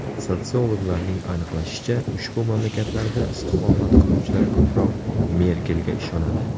Sotsiologlarning aniqlashicha, ushbu mamlakatlarda istiqomat qiluvchilar ko‘proq Merkelga ishonadi.